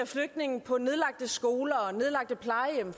flygtninge på nedlagte skoler og nedlagte plejehjem